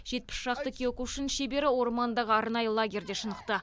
жетпіс шақты киокушин шебері ормандағы арнайы лагерьде шынықты